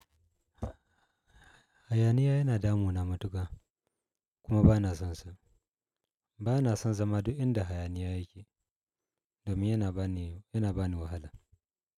Hayaniya yana damu na matuka, kuma bana sonsa. Bana son zama duk inda hayaniya yake domin yana bani, yana bani wahala.